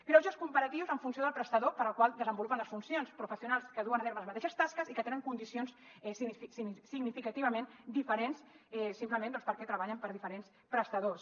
greuges comparatius en funció del prestador per al qual desenvolupen les funcions professionals que duen a terme les mateixes tasques i que tenen condicions significativament diferents simplement doncs perquè treballen per a diferents prestadors